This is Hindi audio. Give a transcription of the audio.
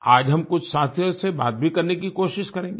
आज हम कुछ साथियों से बात भी करने की कोशिश करेंगे